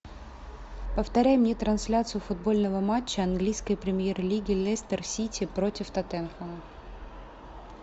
повторяй мне трансляцию футбольного матча английской премьер лиги лестер сити против тоттенхэма